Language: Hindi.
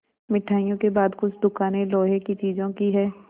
मिठाइयों के बाद कुछ दुकानें लोहे की चीज़ों की हैं